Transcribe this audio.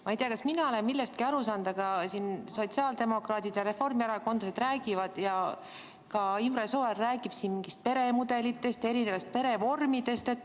Ma ei tea, kas mina olen millestki aru saanud, aga sotsiaaldemokraadid ja reformierakondlased räägivad ja ka Imre Sooäär räägib mingitest peremudelitest, erinevatest perevormidest.